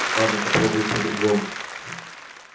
ладно попробую по-другому